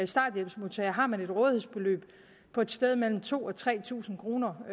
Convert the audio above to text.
starthjælpsmodtager har man et rådighedsbeløb på et sted mellem to og tre tusind kroner